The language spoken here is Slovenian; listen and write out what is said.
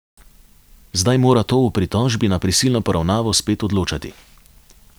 Zdaj mora to o pritožbi na prisilno poravnavo spet odločati.